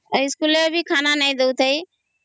ଆଉ ଇସ୍କୁଲ ରେ ବି ଖାନା ନାହିଁ ଦଉ ଥାଇ